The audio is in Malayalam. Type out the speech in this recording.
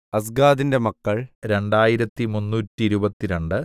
അസ്ഗാദിന്റെ മക്കൾ രണ്ടായിരത്തി മുന്നൂറ്റിരുപത്തിരണ്ട്